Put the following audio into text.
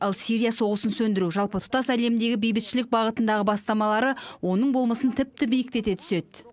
ал сирия соғысын сөндіру жалпы тұтас әлемдегі бейбітшілік бағытындағы бастамалары оның болмысын тіпті биіктете түседі